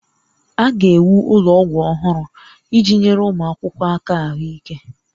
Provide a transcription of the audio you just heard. A ga-ewu ụlọ ọgwụ ọhụrụ iji nyere ụmụ akwụkwọ aka ahụike